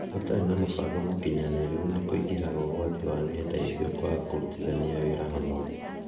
Gũtarĩ na mũbango mũkinyanĩru nĩ kũingĩhaga ũgwati wa ng’enda icio kwaga kũrutithania wĩra hamwe.